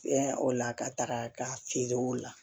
Fɛn o la ka taga ka feere o la